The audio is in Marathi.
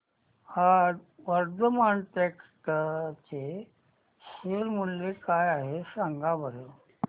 आज वर्धमान टेक्स्ट चे शेअर मूल्य काय आहे सांगा बरं